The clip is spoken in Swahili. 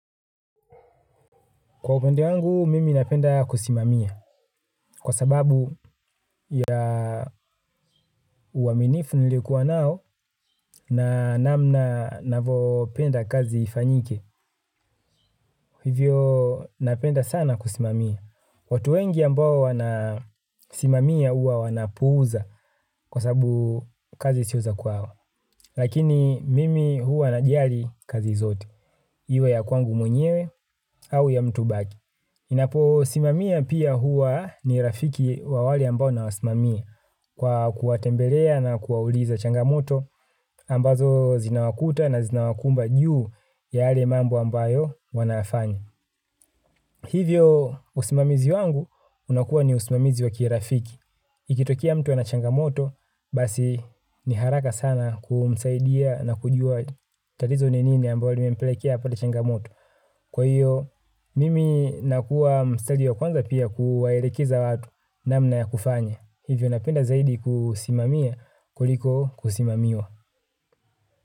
Kwa upande wangu, mimi napenda kusimamia kwa sababu ya uaminifu nilikuwa nao na namna navopenda kazi ifanyike. Hivyo napenda sana kusimamia. Watu wengi ambao wanasimamia uwa wanapuuza kwa sababu kazi sio za kwao. Lakini mimi huwa najali kazi zote, iwe ya kwangu mwenyewe au ya mtubaki. Napo simamia pia huwa ni rafiki wa wale ambao na wasimamia kwa kuwatembelea na kuwauliza changamoto ambazo zinawakuta na zinawakumba juu ya yale mambo ambayo wanayafanya. Hivyo usimamizi wangu unakuwa ni usimamizi wa kirafiki. Ikitokea mtu ana changamoto basi ni haraka sana kumsaidia na kujua tatizo ni nini ambalo limempelekea apate changamoto. Kwa hiyo, mimi nakuwa mstari wa kwanza pia kuwaelekeza watu na mna ya kufanya. Hivyo napenda zaidi kusimamia kuliko kusimamiwa.